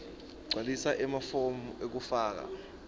gcwalisa emafomu ekufaka